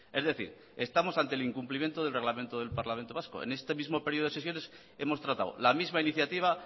es decir estamos ante el incumplimiento del reglamento del parlamento vasco en este mismo período de sesiones hemos tratado la misma iniciativa